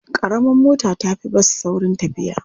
Ƙaramar mota ta fi bas saurin tafiya.